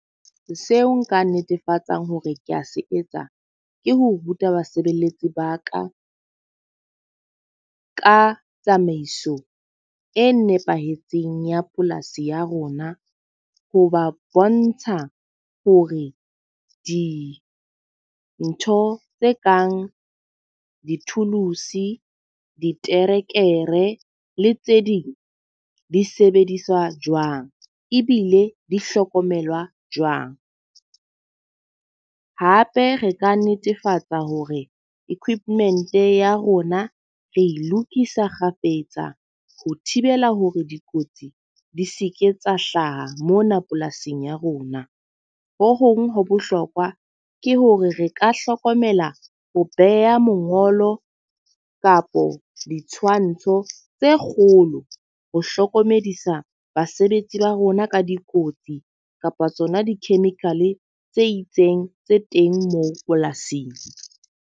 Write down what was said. Seo nka netefatsang hore ke a se etsa, ke ho ruta basebeletsi ba ka ka tsamaiso e nepahetseng ya polasi ya rona. Ho ba bontsha hore dintho tse kang di-tools, diterekere le tse ding di sebediswa jwang ebile di hlokomelwa jwang. Hape re ka netefatsa hore equipment ya rona re lokisa kgafetsa ho thibela hore dikotsi di seke tsa hlaha mona polasing ya rona. Ho hong ho bohlokwa ke hore re ka hlokomela ho beha mongolo kapo ditshwantsho tse kgolo, ho hlokomedisa basebetsi ba rona ka dikotsi kapa tsona di-chemical tse itseng tse teng moo polasing.